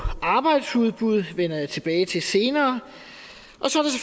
arbejdsudbud men jeg tilbage til senere